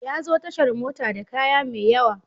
Ya zo tashar mota da kaya mai yawa.